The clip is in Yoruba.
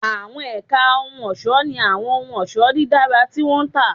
Àwọn ẹ̀ka ohun ọ̀ṣọ́ ní àwọn ohun ọ̀ṣọ́ dídára tí wọ́n ń tà